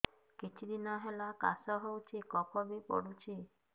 କିଛି ଦିନହେଲା କାଶ ହେଉଛି କଫ ବି ପଡୁଛି